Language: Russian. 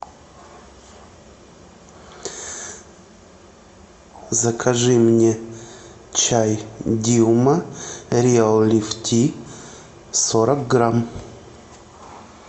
закажи мне чай дилма реал лифти сорок грамм